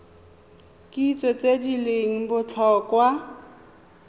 kitso tse di leng botlhokwa